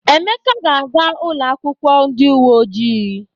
Emeka ga-aga ụlọakwụkwọ ndị uwe ojii.